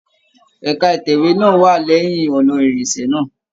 Ẹka itẹwe náà wà lẹyìn ọnà ìrìnṣẹ̀ náà.